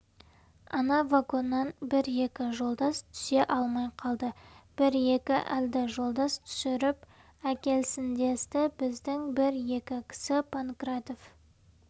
ана вагоннан бір-екі жолдас түсе алмай қалды бір-екі әлді жолдас түсіріп әкелсіндесті біздің бір-екі кісі панкратов